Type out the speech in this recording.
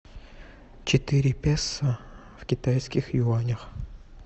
четыре песо в китайских юанях